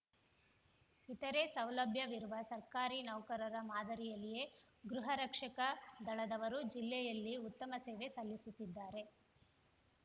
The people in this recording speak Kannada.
ಇತರೇ ಸೌಲಭ್ಯವಿರುವ ಸರ್ಕಾರಿ ನೌಕರರ ಮಾದರಿಯಲ್ಲಿಯೇ ಗೃಹರಕ್ಷಕ ದಳದವರೂ ಜಿಲ್ಲೆಯಲ್ಲಿ ಉತ್ತಮ ಸೇವೆ ಸಲ್ಲಿಸುತ್ತಿದ್ದಾರೆ